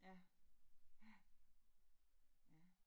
Ja, ja. Ja